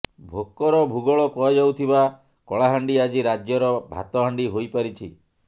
ଭୋକର ଭୂଗୋଳ କୁହାଯାଉଥିବା କଳାହାଣ୍ଡି ଆଜି ରାଜ୍ୟର ଭାତହାଣ୍ଡି ହୋଇପାରିଛି